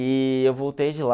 E eu voltei de lá.